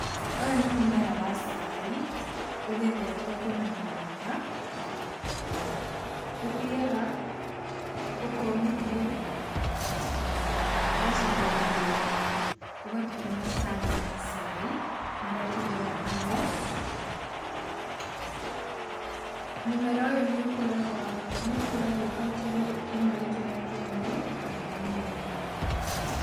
Ũyũ nĩ mũmera wa cai, ũgethetwo kuuma mũgũnda, ũthiaga ũkomithio, ũgacoka ũgathĩo, ũgatũhe macani ma cai marĩa tũrugaga namo. Mũmera ũyũ nĩ ũkũraga, nĩ ũkũragio kaũntĩ-inĩ ĩno itũ ya Kĩambu na Limuru.